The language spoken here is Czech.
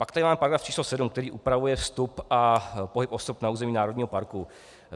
Pak tady máme § 7, který upravuje vstup a pohyb osob na území národního parku.